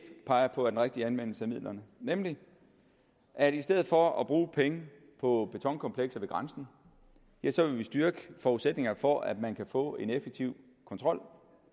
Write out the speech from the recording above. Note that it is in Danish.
peger på er den rigtige anvendelse af midlerne nemlig at i stedet for at bruge penge på betonkomplekser ved grænsen ja så vil vi styrke forudsætningerne for at man kan få en effektiv kontrol og